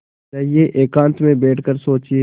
जाइए एकांत में बैठ कर सोचिए